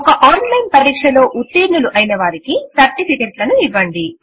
ఒక online పరీక్ష pass లో ఉత్తీర్ణులు అయిన వారికి సర్టిఫికెట్లను ఇవ్వండి